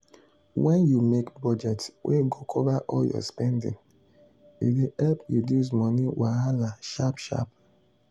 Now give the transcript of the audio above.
wen you make budget wey go cover all your spending e dey help reduce money wahala sharp sharp.